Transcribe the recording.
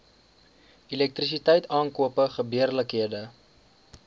elektrisiteit aankope gebeurlikhede